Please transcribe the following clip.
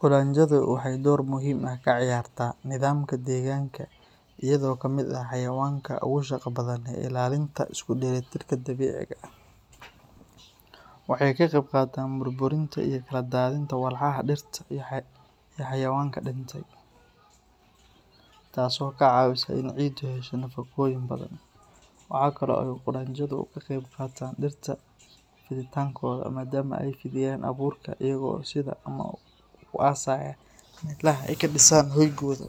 Qudanjadu waxay door muhiim ah ka ciyaartaa nidaamka deegaanka iyagoo ka mid ah xayawaanka ugu shaqada badan ee ilaalinta isku dheelitirka dabiiciga ah. Waxay ka qayb qaataan burburinta iyo kala daadinta walxaha dhirta iyo xayawaanka dhintay, taas oo ka caawisa in ciiddu hesho nafaqooyin badan. Waxa kale oo ay qudhanjadu ka qayb qaataan dhirta fiditaankooda maadaama ay fidiyaan abuurka iyaga oo sida ama ku aasaya meelaha ay ka dhisaan hoygooda.